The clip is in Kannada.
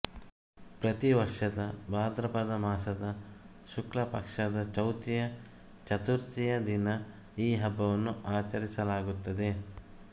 ಪ್ರತಿ ವರ್ಷದ ಭಾದ್ರಪದ ಮಾಸದ ಶುಕ್ಲಪಕ್ಷದ ಚೌತಿಯ ಚತುರ್ಥಿಯ ದಿನ ಈ ಹಬ್ಬವನ್ನು ಆಚರಿಸಲಾಗುತ್ತದೆ